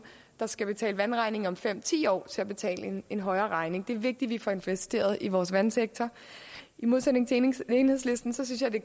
der skal betale vandregningen om fem ti år så til at betale en højere regning det er vigtigt vi får investeret rigtigt i vores vandsektor i modsætning til enhedslisten synes jeg det